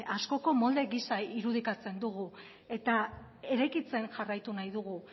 askoko molde giza irudikatzen dugu eta eraikitzen jarraitu nahi dugu